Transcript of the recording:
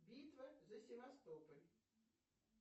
битва за севастополь